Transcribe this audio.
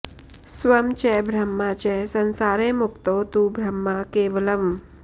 स्वं च ब्रह्म च संसारे मुक्तौ तु ब्रह्म केवलम्